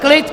Klid!